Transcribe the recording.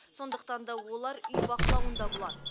сондықтан да олар үй бақылауында болады